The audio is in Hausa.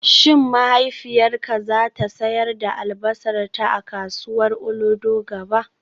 Shin mahaifiyarka za ta sayar da albasarta a kasuwar Olodo gaba?